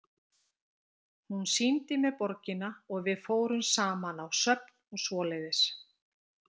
Hún sýndi mér borgina og við fórum saman á söfn og svoleiðis.